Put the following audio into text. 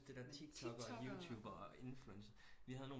Også det der tiktokker youtuber og influencer vi havde